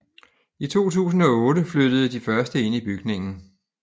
I 2008 flyttede de første ind i bygningen